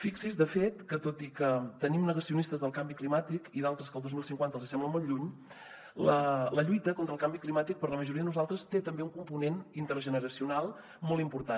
fixi’s de fet que tot i que tenim negacionistes del canvi climàtic i d’altres que el dos mil cinquanta els sembla molt lluny la lluita contra el canvi climàtic per a la majoria de nosaltres té també un component intergeneracional molt important